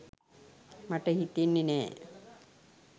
මට හිතෙන්නෙ නෑ